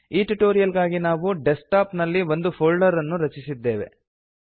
ಈ ಟ್ಯುಟೋರಿಯಲ್ ಗಾಗಿ ನಾವು ಡೆಸ್ಕ್ ಟಾಪ್ ನಲ್ಲಿ ಒಂದು ಫೋಲ್ಡರ್ ಅನ್ನು ರಚಿಸಿದ್ದೇವೆ